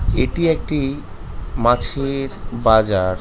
এটি একটি মাছে--র-- বাজার।